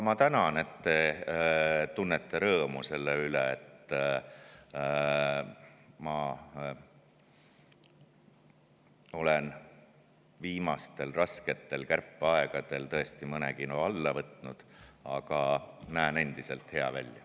Ma tänan, et te tunnete rõõmu selle üle, et ma olen viimastel rasketel kärpeaegadel tõesti mõne kilo alla võtnud, aga näen endiselt hea välja.